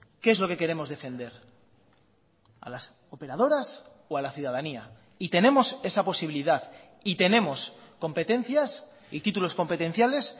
qué es lo que queremos defender a las operadoras o a la ciudadanía y tenemos esa posibilidad y tenemos competencias y títulos competenciales